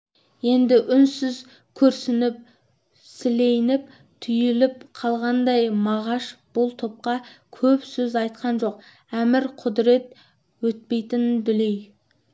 енді үнсіз күрсініп сілейіп түйіліп қалғандай мағаш бұл топқа көп сөз айтқан жоқ әмір-құдірет өтпейтін дүлей